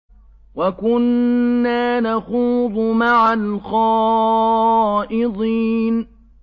وَكُنَّا نَخُوضُ مَعَ الْخَائِضِينَ